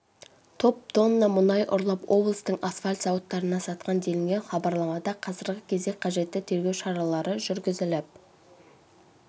топ тонна мұнай ұрлап облыстың асфальт зауыттарына сатқан делінген хабарламада қазіргі кезде қажетті тергеу шаралары жүргізіліп